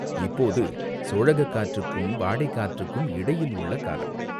இப்போது சோழகக் காற்றுக்கும் வாடைக்காற்றுக்கும் இடையில் உள்ள காலம்.